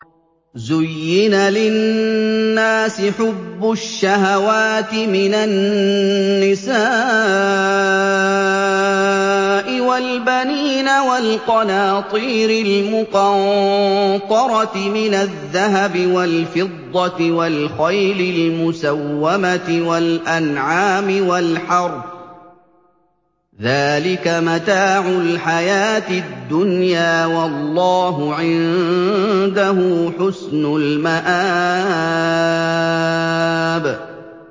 زُيِّنَ لِلنَّاسِ حُبُّ الشَّهَوَاتِ مِنَ النِّسَاءِ وَالْبَنِينَ وَالْقَنَاطِيرِ الْمُقَنطَرَةِ مِنَ الذَّهَبِ وَالْفِضَّةِ وَالْخَيْلِ الْمُسَوَّمَةِ وَالْأَنْعَامِ وَالْحَرْثِ ۗ ذَٰلِكَ مَتَاعُ الْحَيَاةِ الدُّنْيَا ۖ وَاللَّهُ عِندَهُ حُسْنُ الْمَآبِ